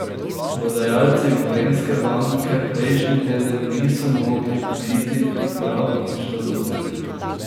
Prodajalci Gorenjske banke prejšnji teden niso mogli biti prav nič zadovoljni.